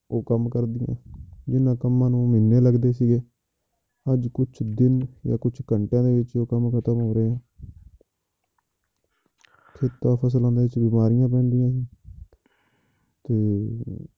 ਉਹ ਕੰਮ ਕਰਦੀਆਂ ਜਿੰਨਾਂ ਕੰਮਾਂ ਨੂੰ ਮਹੀਨੇ ਲੱਗਦੇ ਸੀਗੇ, ਅੱਜ ਕੁਛ ਦਿਨ ਜਾਂ ਕੁਛ ਘੰਟਿਆਂ ਦੇ ਵਿੱਚ ਉਹ ਕੰਮ ਖਤਮ ਹੋ ਰਿਹਾ ਹੈ ਫਸਲ ਹੁੰਦੀਆਂ ਉਹ 'ਚ ਬਿਮਾਰੀਆਂ ਵੀ ਹੁੰਦੀਆਂ ਤੇ